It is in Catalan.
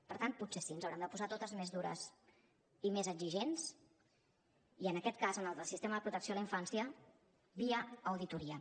per tant potser sí ens haurem de posar totes més dures i més exigents i en aquest cas en el del sistema de protecció a la infància via auditoria